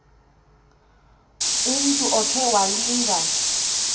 umntu okhe walinga